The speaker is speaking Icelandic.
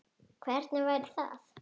Hvernig væri það?